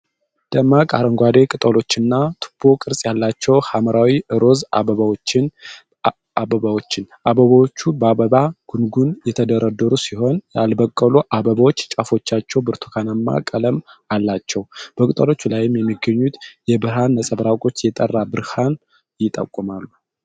ደማቅ አረንጓዴ ቅጠሎችና ቱቦ ቅርጽ ያላቸው ሐምራዊ-ሮዝ አበባዎችን ። አበባዎቹ በአበባ ጉንጉን የተደረደሩ ሲሆን ያልበቀሉ አበቦች ጫፎቻቸው ብርቱካናማ ቀለም አላቸው። በቅጠሎቹ ላይ የሚገኙት የብርሃን ነጸብራቆች የጠራ ብርሃንን ይጠቁማሉ።